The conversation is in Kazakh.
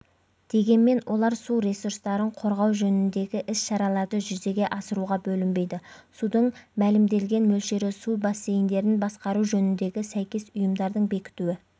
дегенмен олар су ресурстарын қорғау жөніндегі іс-шараларды жүзеге асыруға бөлінбейді судың мәлімделген мөлшері су бассейндерін басқару жөніндегі сәйкес ұйымдардың бекітуі